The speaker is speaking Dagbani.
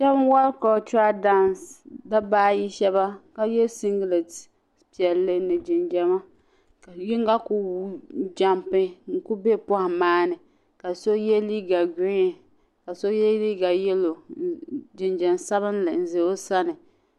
shabi n wari cultural dance dabba ayi shab ka ye singlet piɛlli ni jinjama yin gi ku jumpi n ku be pohim maa ni ka so ye liiga green ka so ye liiga yellow jinjam sabinli n za o sani.